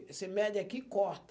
Você mede aqui e corta.